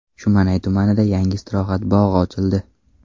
Shumanay tumanida yangi istirohat bog‘i ochildi.